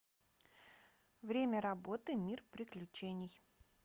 время работы мир приключений